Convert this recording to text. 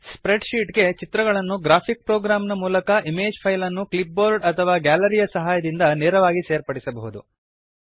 spread sheet ಗೆ ಚಿತ್ರಗಳನ್ನು graphic program ನ ಮೂಲಕ ಇಮೇಜ್ ಫೈಲ್ ಅನ್ನು ಕ್ಲಿಪ್ ಬೋರ್ಡ್ ಅಥವಾ ಗ್ಯಾಲರಿಯ ಸಹಾಯದಿಂದ ನೇರವಾಗಿ ಸೇರ್ಪಡಿಸಬಹುದು